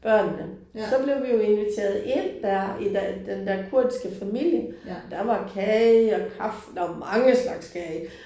Børnene. Så blev vi jo inviteret ind der i den der kurdiske familie. Der var kage og kaffe der var mange slags kage